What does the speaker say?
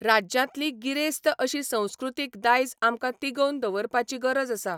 राज्यांतली गिरेस्त अशी संस्कृतीक दायज आमकां तिगोवन दवरपाची गरज आसा.